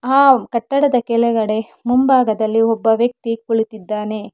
ಆ ಕಟ್ಟಡದ ಕೆಳಗಡೆ ಮುಂಭಾಗದಲ್ಲಿ ಒಬ್ಬ ವ್ಯಕ್ತಿ ಕುಳಿತಿದ್ದಾನೆ.